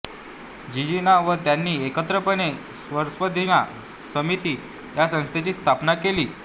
जिजीना व त्यांनी एकत्रितपणे स्वरसाधना समिती या संस्थेची स्थापना केली